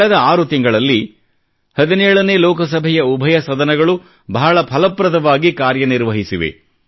ಕಳೆದ 6 ತಿಂಗಳಲ್ಲಿ 17 ನೇ ಲೋಕಸಭೆಯ ಉಭಯ ಸದನಗಳು ಬಹಳ ಫಲಪ್ರದವಾಗಿ ಕಾರ್ಯನಿರ್ವಹಿಸಿವೆ